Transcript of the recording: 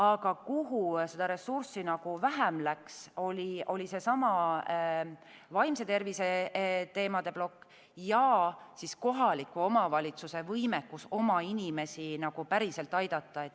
Aga kuhu ressurssi vähem läks, oli seesama vaimse tervise teemade plokk ja kohaliku omavalitsuse võimekus oma inimesi päriselt aidata.